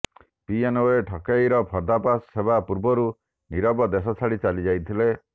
PNB ଠକେଇର ପର୍ଦାଫାଶ ହେବା ପୂର୍ବରୁ ନିରବ ଦେଶ ଛାଡ଼ି ଚାଲିଯାଇଥିଲେ